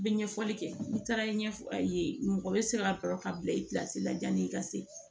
N bɛ ɲɛfɔli kɛ n taara ɲɛfɔ a ye mɔgɔ bɛ se ka kɔrɔ ka bila i la yanni i ka se